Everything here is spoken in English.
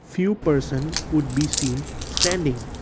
few persons would be seen standing.